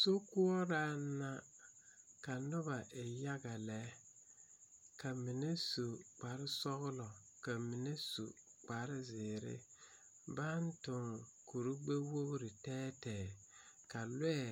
Sokoɔraŋ la ka noba e yaga lɛ ka mine su kpare sɔglɔ ka mine su kpare zēēre baŋ tuŋ kore gbɛwogre gbɛɛ tɛɛtɛɛ ka lɔɛ